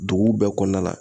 Duguw bɛɛ kɔnɔna la.